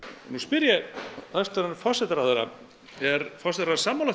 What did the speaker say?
nú spyr ég hæstvirtan forsætisráðherra er forsætisráðherra sammála